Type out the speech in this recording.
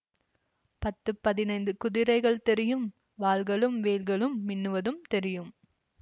பத்து பதினைந்து குதிரைகள் தெரியும் வாள்களும் வேல்களும் மின்னுவதும் தெரியும்